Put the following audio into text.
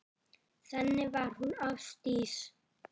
Þannig var hún Ásdís.